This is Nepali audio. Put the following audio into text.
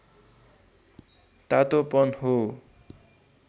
तातोपन हो